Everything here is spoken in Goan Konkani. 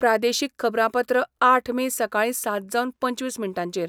प्रादेशीक खबरांपत्र आठ मे सकाळी सात जावन पंचवीस मिनटांचेर